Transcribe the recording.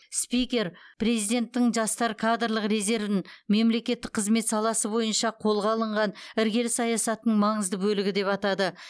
спикер президенттің жастар кадрлық резервін мемлекеттік қызмет саласы бойынша қолға алынған іргелі саясаттың маңызды бөлігі деп атады